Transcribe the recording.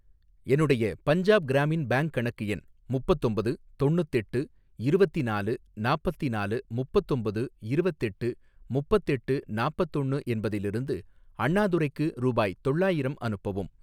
என்னுடைய பஞ்சாப் கிராமின் பேங்க் கணக்கு எண் முப்பத்தொம்பது தொண்ணுத்தெட்டு இருவத்தினாலு நாப்பத்தினாலு முப்பத்தொம்பது இருவத்தெட்டு முப்பத்தெட்டு நாப்பத்தொண்ணு என்பதிலிருந்து அண்ணாதுரைக்கு ரூபாய் தொள்ளாயிரம் அனுப்பவும்.